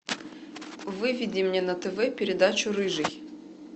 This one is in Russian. выведи мне на тв передачу рыжий